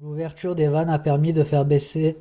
l'ouverture des vannes a permis de faire baisser